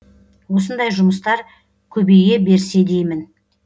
осындай жұмыстар көбейе берсе деймін